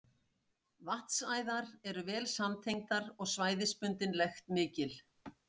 Vatnsæðar eru vel samtengdar og svæðisbundin lekt mikil.